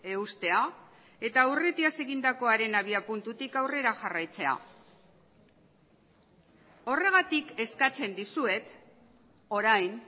eustea eta aurretiaz egindakoaren abiapuntutik aurrera jarraitzea horregatik eskatzen dizuet orain